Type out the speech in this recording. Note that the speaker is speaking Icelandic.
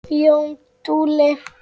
Jón Múli